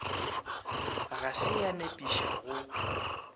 ga se ya nepiša go